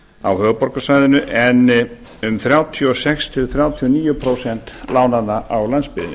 á höfuðborgarsvæðinu en um þrjátíu og sex til þrjátíu og níu prósent lánanna á landsbyggðinni